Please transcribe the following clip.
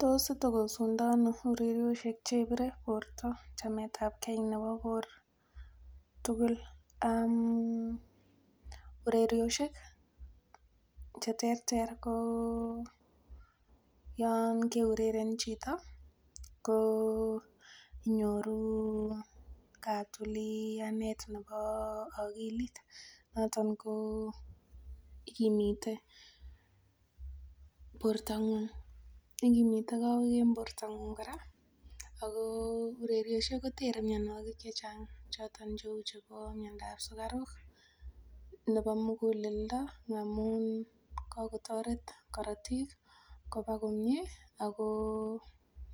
Tos itokosu ndono ureriosiek chebire borto chametapgei nebo bor tugul? um ureriosiek cheterter ko yon keureren chito ko inyoru katulianet nebo akilit noton ko ikimite bortong'ung, ikimite kowek en bortong'ung kora ako ureriosiek kotere mionwogik chechang choton cheu chebo miondab sugaruk nebo muguleldo amun kakotoret korotik koba komie ako